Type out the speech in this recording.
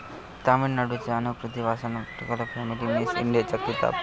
तामिळनाडूच्या अनुकृती वासनं पटकावला फेमिना मिस इंडियाचा किताब